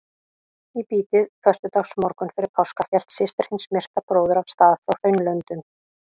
Í bítið föstudagsmorgunn fyrir páska hélt systir hins myrta bróður af stað frá Hraunlöndum.